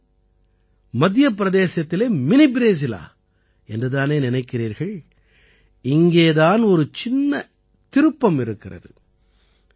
என்னது மத்திய பிரதேசத்திலே மினி ப்ரேசிலா என்று தானே நினைக்கிறீர்கள் இங்கே தான் ஒரு சின்ன திருப்பம் இருக்கிறது